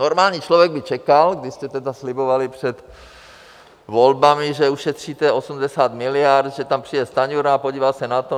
Normální člověk by čekal, když jste tedy slibovali před volbami, že ušetříte 80 miliard, že tam přijde Stanjura a podívá se na to.